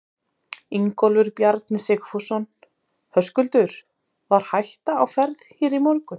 Ingólfur Bjarni Sigfússon: Höskuldur, var hætta á ferð hér í morgun?